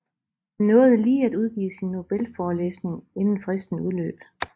Han nåede lige at udgive sin nobelforelæsning inden fristen udløb